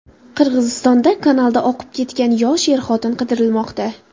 Qirg‘izistonda kanalda oqib ketgan yosh er-xotin qidirilmoqda.